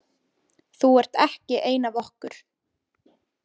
Þú ert ekki ein af okkur.